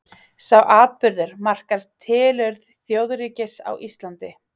sá atburður markar tilurð þjóðríkis á íslandi